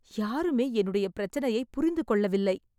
யாருமே என்னுடைய பிரச்சனையை புரிந்து கொள்ளவில்லை